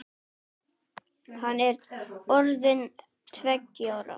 Hann er orðinn tveggja ára.